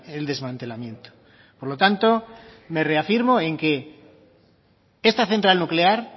el desmantelamiento por lo tanto me reafirmo en que esta central nuclear